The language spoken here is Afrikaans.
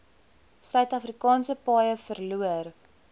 suidafrikaanse paaie verloor